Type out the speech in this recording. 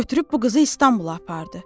Götürüb bu qızı İstanbula apardı.